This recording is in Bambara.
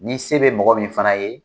Ni se be mɔgɔ min fana ye